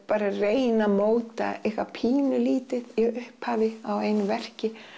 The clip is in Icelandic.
reyna móta eitthvað pínu lítið í upphafi á einu verki